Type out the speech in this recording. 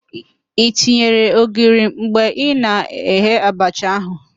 I tinyere ogiri mgbe ị na-eghe abacha ahụ?